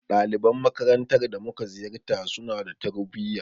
Daliban makarantar da mu ka ziyarta, su na da tarbuyya.